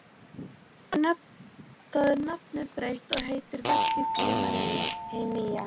Þar er nafnið breytt og heitir verkið Gríma hin nýja.